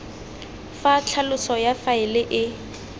fa tlhaloso ya faele e